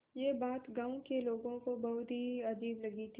यह बात गाँव के लोगों को बहुत ही अजीब लगी थी